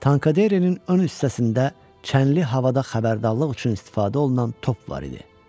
Tankaderenin ön hissəsində çənli havada xəbərdarlıq üçün istifadə olunan top var idi.